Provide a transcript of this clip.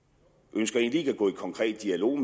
ønsker egentlig ikke at gå i konkret dialog